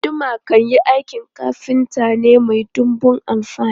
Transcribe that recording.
Guduma kayan aikin kafinta ne mai dunbun amfani.